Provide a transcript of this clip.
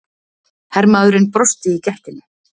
Hermaðurinn brosti í gættinni.